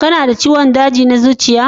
Kana da ciwon daji na zuciya?